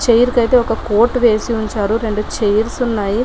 Chair కి అయితే ఒక కోట్ వేసి ఉంచారు రెండు చైర్స్ ఉన్నాయి.